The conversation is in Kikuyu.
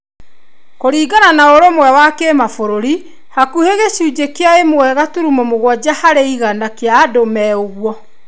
Kũringana na ũrũmwe wa kĩmabúrũri hakuhĩ gĩcunjĩ kĩa ĩmwe gaturumo mũgwanja harĩ igana kĩa andũ me ũguo.